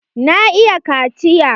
Na iya kaciya.